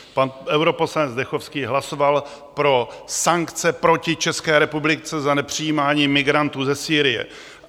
Pan europoslanec Zdechovský hlasoval pro sankce proti České republice za nepřijímání migrantů ze Sýrie.